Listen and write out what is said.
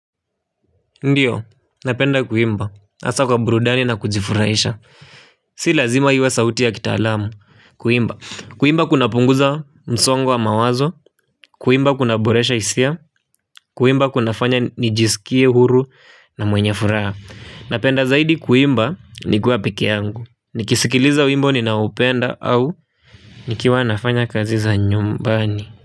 Ndiyo, napenda kuimba, hasa kwa burudani na kujifurahisha. Si lazima iwe sauti ya kitaalamu, kuimba. Kuimba kunapunguza msongo wa mawazo, kuimba kunaboresha hisia, kuimba kunafanya nijisikie huru na mwenye furaha. Napenda zaidi kuimba, nikuwa peke yangu. Nikisikiliza wimbo ninao upenda au nikiwa nafanya kazi za nyumbani.